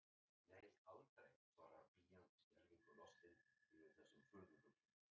Nei, aldrei, svarar pían skelfingu lostin yfir þessum furðufugli.